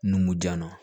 Numu jan na